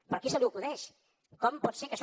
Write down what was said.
però a qui se li acudeix com pot ser que això